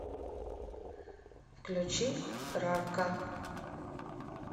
включи рарка